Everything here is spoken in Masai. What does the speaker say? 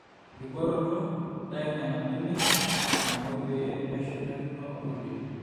enkibooroto: ntau nena benek naamwei pee meshurtakino onkulie